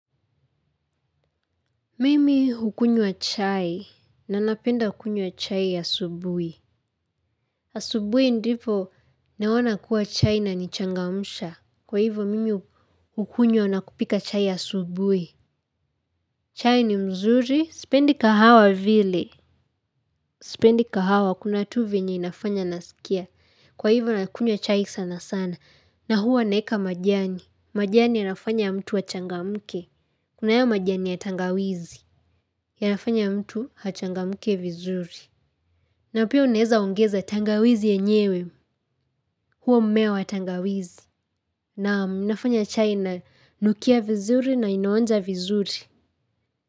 Mimi hukunywa chai, na napenda kunywa chai asubuhi. Asubuhi ndipo naona kuwa chai inanichangamsha. Kwa hivyo mimi hukunywa nakupika chai asubuhi. Chai ni mzuri, sipendi kahawa vile. Spendi kahawa, kuna tu vyenye inafanya nasikia. Kwa hivyo nakunywa chai sana sana. Na huwa naweka majani. Majani yanafanya mtu achangamke. Kuna hayo majani ya tangawizi. Yanafanya mtu achangamke vizuri. Na pia unaweza ongeza tangawizi yenyewe. Huo mmea wa tangawizi. Naam, nafanya chai inanukia vizuri na inaonja vizuri.